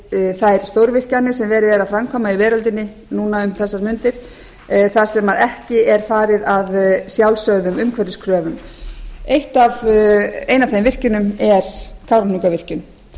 fyrir þær stórvirkjanir sem verið er að framkvæma í veröldinni núna um þessar mundir þar sem ekki er farið að sjálfsögðum umhverfiskröfum ein af þeim virkjunum er kárahnjúkavirkjun